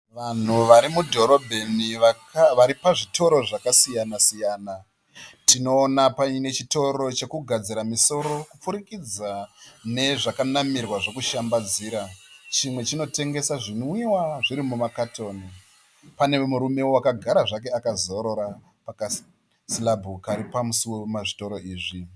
Vanhu vari mudhorobheni vari pazvitoro zvakasiyana-siyana. Tinoona paine chitoro chekugadzira misoro kupfuurikidza nezvakanamirwa zvokushambadzira. Chimwe chinotengesa zvinwiwa zviri mumakatoni. Panewo murume akagara zvake pakasirabhu kari pamusuo wemazvitoro izvi.